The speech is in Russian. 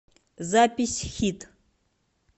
запись хит